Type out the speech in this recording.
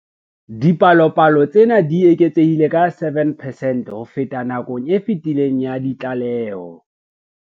Dipalopalo tsena di eketsehile ka 7 percent ho feta nakong e fetileng ya ditlaleho.